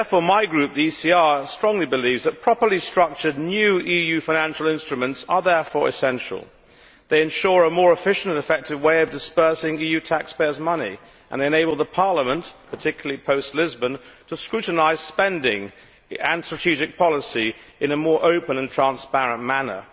My group, the ECR Group, strongly believes that properly structured new EU financial instruments are therefore essential. They ensure a more efficient and effective way of disbursing EU taxpayers' money and enable Parliament, particularly post Lisbon, to scrutinise spending and strategic policy in a more open and transparent manner.